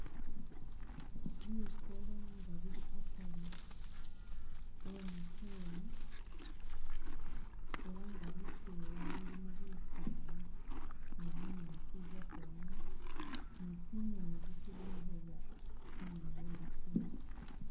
Bisoolo nga bili akari we mukyewa, ela nga lukewa lulimu bisaala ni bunyaasi ubwatsowamu ni tsingingi tsibonekhela inyuuma we mukewa.